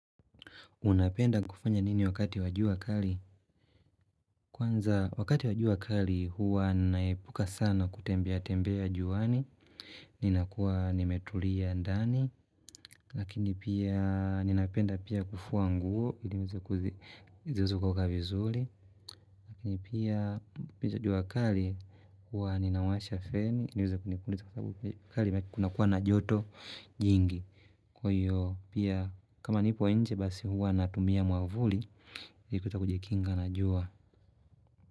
Unapenda kufanya nini wakati wa jua kali? Kwanza wakati wa jua kali huwa naepuka sana kutembea tembea juani. Ninakuwa nimetulia ndani. Lakini pia ninapenda pia kufua nguo. Ili niweze kuzi, ziweze kukauka vizuli. Lakini pia piju jua kari huwa ninawasha feni. Ili niweze kunipuniza kwa sababu kari kunakuwa na joto jingi. Kwa hiyo pia kama nipo nje basi huwa natumia mwavuli. Kuweza kujikinga na jua.